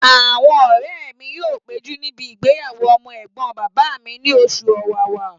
Àwọn ọ̀rẹ́ mi yóò péjú níbi ìgbéyàwó ọmọ ẹ̀gbọ́n bàbá mi ní oṣù ọ̀wàwà